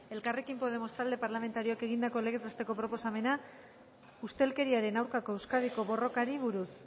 elkarrekin podemos talde parlamentarioak egindako legez besteko proposamena ustelkeriaren aurkako euskadiko borrokari buruz